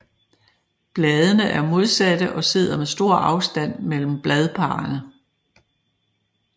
Bladene er modsatte og sidder med stor afstand mellem bladparrene